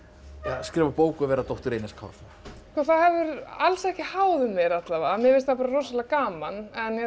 skrifa bók og vera dóttir Einars Kárasonar það hefur alls ekki háð mér alla vega mér finnst það rosalega gaman